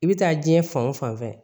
I bɛ taa diɲɛ fan o fan fɛ